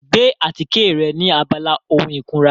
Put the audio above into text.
Gbé àtíkè rẹ ní abala ohun ìkunra.